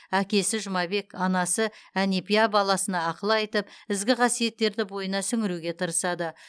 әкесі жұмабек анасы әнепия баласына ақыл айтып ізгі қасиеттерді бойына сіңіруге тырысады